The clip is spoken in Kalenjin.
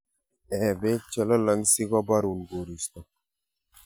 Eeh beek chelolong' sikobarun koristo.